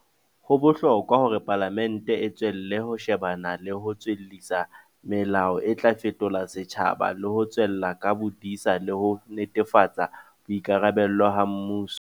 Ho bohlokwa hore Palamente e tswelle ho shebana le ho tswellisa melao e tla fetola setjhaba le ho tswella ka bodisa le ho netefatsa boikarabelo ha mmuso